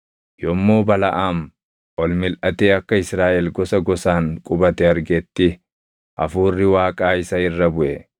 Yommuu Balaʼaam ol milʼatee akka Israaʼel gosa gosaan qubate argetti Hafuurri Waaqaa isa irra buʼe;